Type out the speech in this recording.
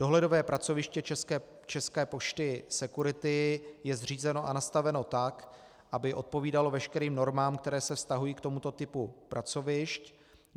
Dohledové pracoviště České pošty Security je zřízeno a nastaveno tak, aby odpovídalo veškerým normám, které se vztahují k tomuto typu pracovišť.